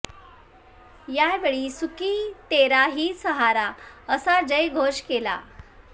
यावेळी सुकी तेरा ही सहारा असा जय घोष केला